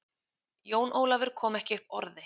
Jón Ólafur kom ekki upp orði.